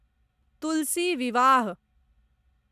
तुलसी विवाह